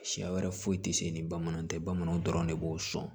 Siya wɛrɛ foyi tɛ se ni bamananw tɛ bamananw dɔrɔn de b'o sɔn